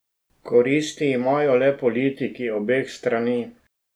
Koristi imajo le politiki obeh strani.